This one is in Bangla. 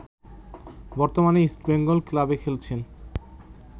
বর্তমানে ইস্টবেঙ্গল ক্লাবে খেলছেন